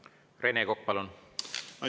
Rene Kokk, palun!